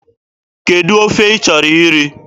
Kedụ ofe ị chọrọ iri?